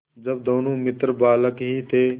जब दोनों मित्र बालक ही थे